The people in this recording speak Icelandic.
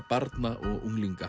barna og unglinga